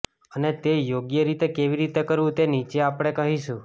અને તે યોગ્ય રીતે કેવી રીતે કરવું તે નીચે આપણે કહીશું